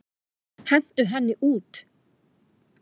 Hentu henni út!